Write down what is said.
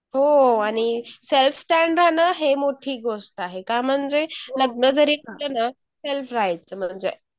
हो आणि self stand होणं हे मोठी गोष्ट आहे .का म्हणजे लग्नजरी केलं ना म्हणजे